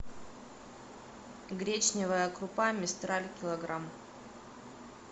гречневая крупа мистраль килограмм